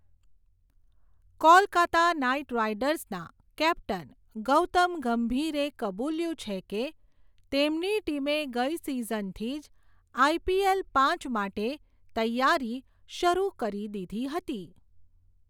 Kolkata knight રાઇડર્સનના, captain, Gautam ગંભીરે કબૂલ્યું છે કે, તેમની ટીમે ગઈ સીઝનથી જ, આઈપીએલ પાચ માટે, તૈયારી, શરુ કરી દીધી હતી.